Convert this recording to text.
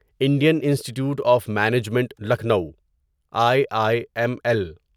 Indian institute of management Lucknow I I M L